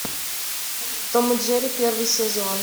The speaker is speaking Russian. том и джерри первый сезон